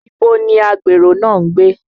Ibo ni Agbèrò náà ń gbé?